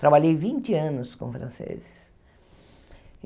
Trabalhei vinte anos com franceses.